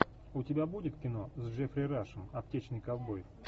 у тебя будет кино с джеффри рашем аптечный ковбой